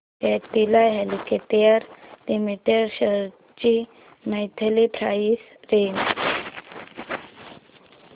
Cadila healthcare limited shares ची monthly price range